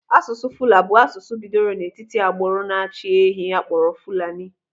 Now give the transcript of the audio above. Asụsụ Fula bụ asụsụ bidoro n'etiti agbụrụ na-achị ehi akpọrọ Fulani.